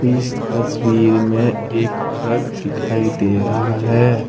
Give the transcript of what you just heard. इस तस्वीर मे एक ट्रक दिखाई दे रहा है।